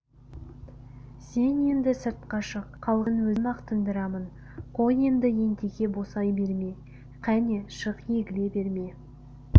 сен енді сыртқа шық қалғанын өзім-ақ тындырамын қой енді едеке босай берме кәне шық егіле берме